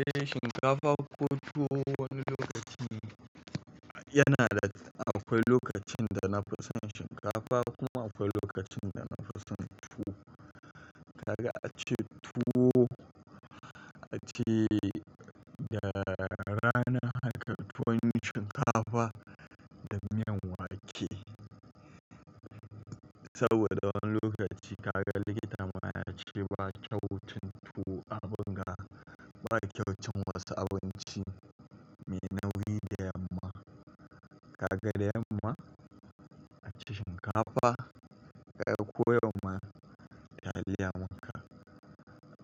Eh shinkafa ko tuwo wani lokaci yana da akwai lokacin da na fi son shinkafa kuma akwai lokacin da na fi son tuwo. Kaga ace tuwo ace da rana haka tuwon shinkafa da miyan wake. Saboda wani lokaci kaga likita ma ya ce ba kyau cin tuwo abin ga ba kyau cin wasu abinci mai nauyi da yamma. Kaga da yamma aci shinkafa kai ko yau ma taliya muka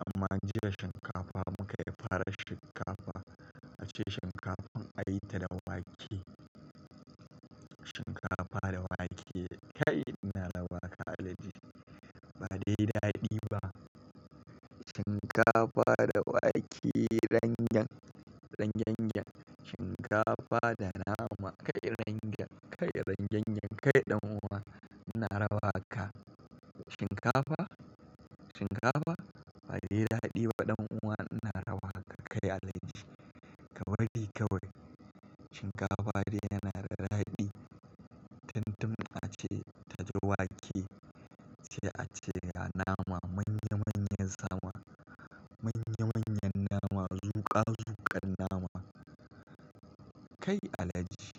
amma an jiya shinkafa muka yi fara shinkafa ace shinkafan a yi ta da wake. Shinkafa da wake kai ina rawa kai alhaji ba dai daɗi ba. Shinkafa da wake rangyen rangyengen shinkafa da nama kai rangyen kai rangyengen kai ɗan'uwa ina rawa haka. Shinkafa shinkafa ba dai daɗi ba ɗan'uwa ina rawa ka kai alhaji ka bari kawai. Shinkafa dai yana da daɗi tun tun ace ta ji wake sai ace ga nama manya manyan nama manya manyan nama zuƙa zuƙan nama kai alhaji.